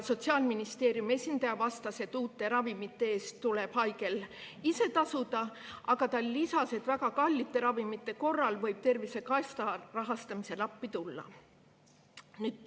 Sotsiaalministeeriumi esindaja vastas, et uute ravimite eest tuleb haigel ise tasuda, aga ta lisas, et väga kallite ravimite korral võib Tervisekassa rahastamisel appi tulla.